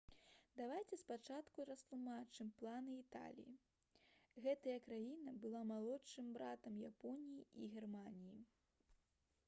давайце спачатку растлумачым планы італіі. гэтая краіна была «малодшым братам» японіі і германіі